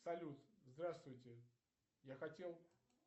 салют здравствуйте я хотел